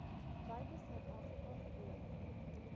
buite suidafrika gebore